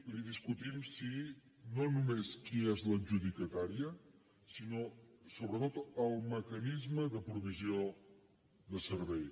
li discutim no només qui és l’adjudicatària sinó sobretot el mecanisme de provisió de servei